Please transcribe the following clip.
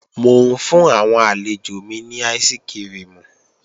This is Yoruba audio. Mò ń fún àwọn àlejò mi ní áìsikirimù